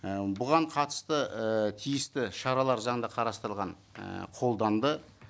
і бұған қатысты ііі тиісті шаралар заңда қарастырылған ііі қолданды